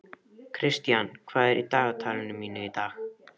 Kristian, hvað er í dagatalinu mínu í dag?